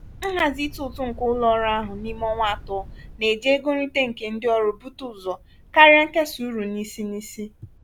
nhazi ịtụ ụtụ nke ụlo-ọru ahụ niime ọnwa atọ na-eji ego nrite nke ndị ọrụ bute ụzọ karịa nkesa uru n'isi n'isi.